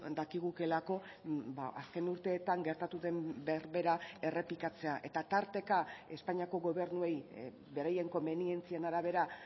dakigukeelako azken urteetan gertatu den berbera errepikatzea eta tarteka espainiako gobernuei beraien komenientzien arabera